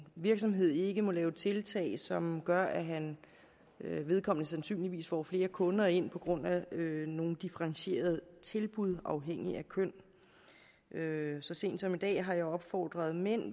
virksomhed ikke må lave tiltag som gør at vedkommende sandsynligvis får flere kunder ind på grund af nogle differentierede tilbud afhængigt af køn så sent som i dag har jeg opfordret mænd